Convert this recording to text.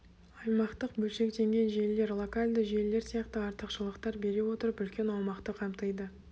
аймақтық бөлшектенген желілер локальды желілер сияқты артықшылықтар бере отырып үлкен аумақты қамтиды